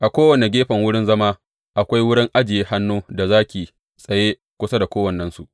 A kowane gefen wurin zama, akwai wurin ajiye hannu, da zaki tsaye kusa da kowannensu.